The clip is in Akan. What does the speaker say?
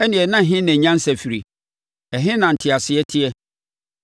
Ɛnneɛ na ɛhe na nyansa firie? Ɛhe na nteaseɛ teɛ?